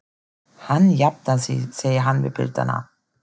Hann jafnar sig, segir hann við piltana.